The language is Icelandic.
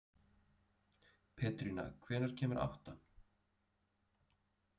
Pétrína, hvenær kemur áttan?